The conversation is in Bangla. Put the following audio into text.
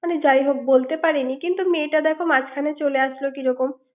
কিন্তু যাই হোক বলতে পারিনি কিন্তু মেয়েটা দেখো চলে আসলো কিরকম ৷